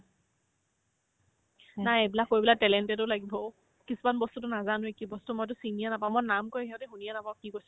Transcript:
নাই এইবিলাক কৰিবলৈ talented ও লাগিব অ' কিছুমান বস্তুতো নাজানোয়ে কি বস্তু মইতো চিনিয়ে নাপাও মই নাম কই সিহতে শুনিয়ে নাপাও কি কৈছে